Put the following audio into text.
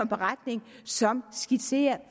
beretning som skitserer